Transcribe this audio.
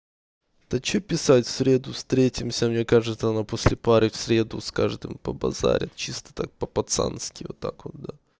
та чё писать в среду встретимся мне кажется она после пары в среду с каждым побазарит чисто так по пацански вот так вот да